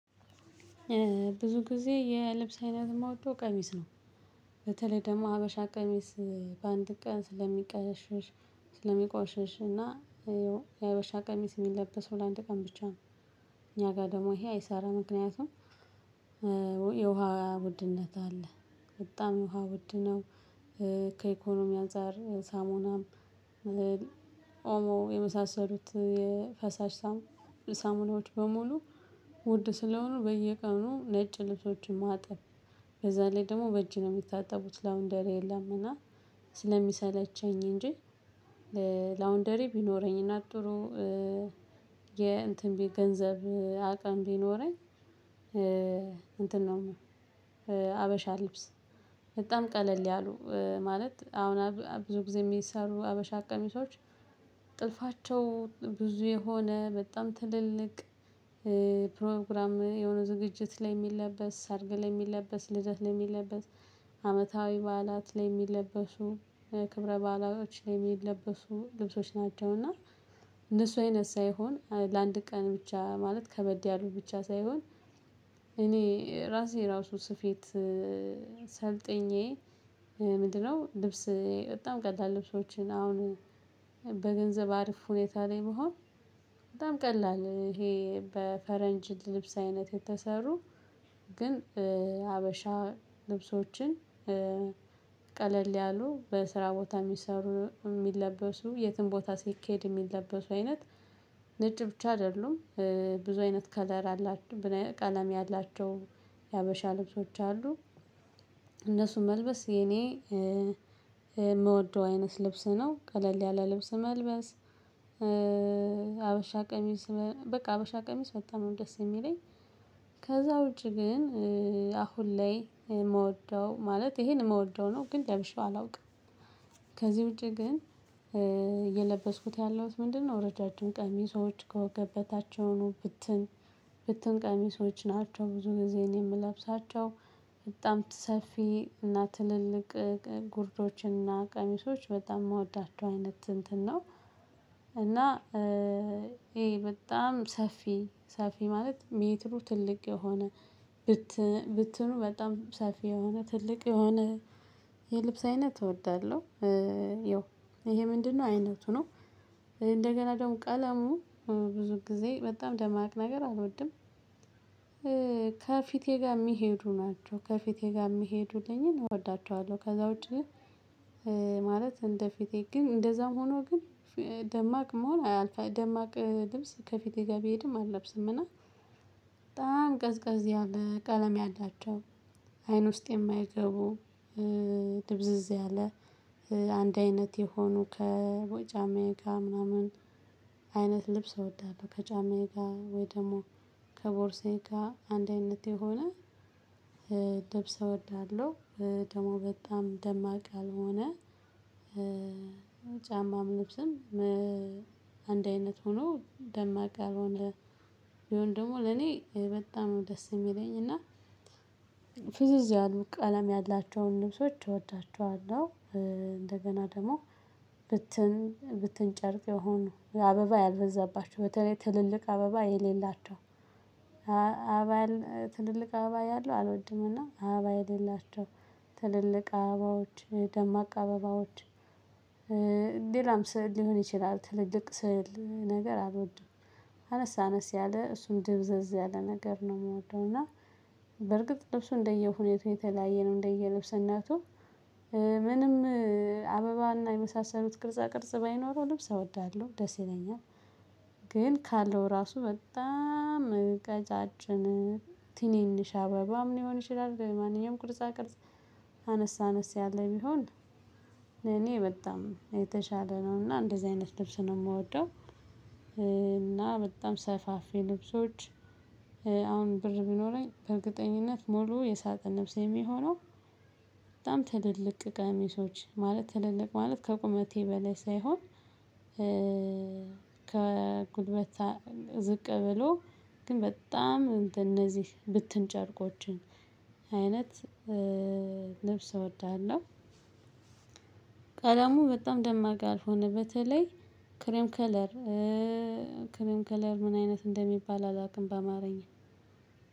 ብዙ ጊዜ የልብስ አይነት እምወደው ቀሚስ ነው። በተለይ ደግሞ ሀበሻ ቀሚስ በአንድ ቀን ስለሚቀሸሽ ስለሚቆሽሽ እና የአበሻ ቀሚስ እሚለበሰው ለአንድ ቀን ብቻ ነው። እኛ ጋር ደግሞ ይሄ አይሰራ ምክንያቱም። የውሃ ውድነት አለ በጣም ውሃ ውድ ነው። ከኢኮኖሚ አንፃር ሳሙናም ኦሞ የመሳሰሉት የፈሳሽ ሳሙና ሳሙናዎች በሙሉ ውድ ስለሆኑ በየቀኑ ነጭ ልብሶችን ማጠብ። በዛ ላይ ደግሞ በእጅ ነው ሚታጠቡት ላውንደሪ የለም። እና ስለሚሰለቸኝ እንጂ። ላውንደሪ ቢኖረኝ እና ጥሩ የእንትን ቤት ገንዘብ አቅም ቢኖረኝ እንትን ነው። ሀበሻ ልብስ በጣም ቀለል ያሉ ማለት አሁን ብዙ ጊዜ ሚሰሩ ሀበሻ ቀሚሶች። ብዙ የሆነ በጣም ትልልቅ ፕሮግራም የሆነ ዝግጅት ላይ ሚለበስ ሰርግ ላይ ሚለበስ ልደት ላይ ሚለበስ አመታዊ በዓላት ላይ ሚለበሱ ክብረ በዓላዎች ላይ ሚለበሱ ልብሶች ናቸውና። እንደሱ አይነት ሳይሆን ለአንድ ቀን ብቻ ማለት ከበድ ያሉ ብቻ ሳይሆን። እኔ ራሴ ራሱ ስፌት ሰልጥኜ ምንድነው ልብስ በጣም ቀለል ልብሶችን አሁን በገንዘብ አርፍ ሁኔታ ላይ ብሆን። በጣም ቀላል ይሄ በፈረንጅ ልብስ አይነት የተሰሩ ግን ሀበሻ ልብሶችን ቀለል ያሉ በስራ ቦታ እሚሰሩ እሚለበሱ የትም ቦታ ሲኬድ እሚለበሱ አይነት ነጭ ብቻ አይደሉም። ብዙ አይነት ከለር አላቸው ቀለም ያላቸው የሀበሻ ልብሶች አሉ። እነሱ መልበስ የኔ ምወደው አይነት ልብስ ነው ቀለል ያለ ልብስ መልበስ። ሀበሻ ቀሚስ በቃ ሀበሻ ቀሚስ በጣም ነው ደስ እሚለኝ። ከዛ ውጪ ግን አሁን ላይ ምወደው ማለት ይሄን ምወደው ነው ግን ለብሼው አላውቅም። ውጪ ግን የለበስኩት ያለሁት ምንድነው? ረጃጅም ቀሚሶች ከወገብ በታች የሆኑ ብትን ብትን ቀሚሶች ናቸው ብዙ ጊዜ እኔ ምለብሳቸው። በጣም ሰፊ እና ትልልቅ ጉርዶች እና ቀሚሶች በጣም ምወዳቸው አይነት እንትን ነው። እና ይሄ በጣም ሰፊ ሰፊ ማለት ሜትሩ ትልቅ የሆነ ብትን ብትኑ በጣም ሰፊ የሆነ ትልቅ የሆነ የልብስ አይነት እወዳለሁ። ያው ይሄ ምንድነው አይነቱ ነው። እንደገና ደግሞ ቀለሙ ብዙ ጊዜ በጣም ደማቅ ነገር አልወድም። ከፊቴ ጋር እሚሄዱ ናቸው ከፊቴ ጋር እሚሄዱልኝን እወዳቸዋለሁ ከዛ ውጪ። ማለት እንደፊቴ ግን እንደዛም ሆኖ ግን ደማቅ መሆን አልፈህ ደማቅ ልብስ ከፊቴ ጋር ቢሄድም አልለብስም። እና በጣም ቀዝቀዝ ያለ ቀለም ያላቸው አይን ውስጥ የማይገቡ ድብዝዝ ያለ አንድ አይነት የሆኑ ከጫማዬ ጋር ምናምን። አይነት ልብስ አወዳለሁ ከጫማዬ ጋር ወይ ደግሞ ከቦርሴ ጋር አንድ አይነት የሆነ ልብሰ እወዳለሁ። ደግሞ በጣም ደማቅ ያልሆነ ጫማም ልብስም አንድ አይነት ሆኖ ደማቅ ያልሆነ ቢሆን ደግሞ ለኔ በጣም ነው ደስ እሚለኝ እና። ፍዝዝ ያሉ ቀለም ያላቸውን ልብሶች እወዳቸዋለሁ። እንደገና ደግሞ ብትን ብትን ጨርቅ የሆኑ አበባ ያልበዛባቸው በተለይ ትልልቅ አበባ የሌላቸው። አበባ ያለ ትልልቅ አበባ ያለው አልወድም። እና አበባ የሌላቸው ትልልቅ አበባዎች ደማቅ አበባዎች። ሌላም ስዕል ሊሆን ይችላል ትልልቅ ስዕል ነገር አልወድም። አነስ አነስ ያለ እሱም ድብዝዝ ያለ ነገር ነው ምወደው እና። በርግጥ ልብሱ እንደየሁኔታው የተለያየ ነው እንደየልብስነቱ። ምንም አበባ እና የመሳሰሉት ቅርጻ ቅርጽ ባይኖር ልብስ አወዳለሁ ደስ ይለኛል። ግን ካለው ራሱ በጣም ቀጫጭን ትንንሽ አበባም ሊሆን ይችላል ማንኛውም ቅርጻ ቅርጽ አነስ አነስ ያለ ቢሆን። እኔ በጣም የተሻለ ነው እና እንደዚህ አይነት ልብስ ነው ምወደው። እና በጣም ሰፋፊ ልብሶች። አሁን ብር ቢኖረኝ በእርግጠኝነት ሙሉ የሳጥን ልብሴ እሚሆነው በጣም ትልልቅ ቀሚሶች ማለት ትልልቅ ማለት ከቁመቴ በላይ ሳይሆን። ከጉልበት ዝቅ ብሎ ግን በጣም እንትን እነዚህ ብትን ጨርቆችን አይነት ልብስ እወድሃለሁ። ቀለሙ በጣም ደማቅ ያልሆነ በተለይ ክሬም ከለር። ክሬም ከለር ምን አይነት እንደሚባል አላውቅም በአማርኛ